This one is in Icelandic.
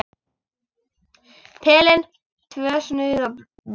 Pelinn, tvö snuð og bleiur.